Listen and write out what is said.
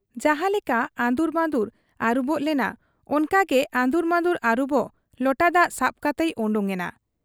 ᱡᱟᱦᱟᱸ ᱞᱮᱠᱟ ᱟᱺᱫᱩᱨᱢᱟᱺᱫᱩᱨ ᱟᱹᱨᱩᱵᱚᱜ ᱞᱚᱱᱟ ᱚᱱᱠᱟ ᱜᱮ ᱟᱺᱫᱩᱨ ᱢᱟᱺᱫᱩᱨ ᱟᱹᱨᱩᱵᱚᱜ ᱞᱚᱴᱟ ᱫᱟᱜ ᱥᱟᱵ ᱠᱟᱛᱮᱭ ᱚᱰᱚᱠ ᱮᱱᱟ ᱾